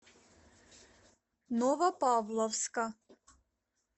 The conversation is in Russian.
новопавловска